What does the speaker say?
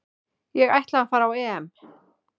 Ég ætla að fara á EM